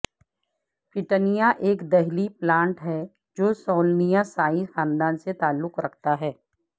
petunia ایک دہلی plant ہے جو سولنیسائی خاندان سے تعلق رکھتا ہے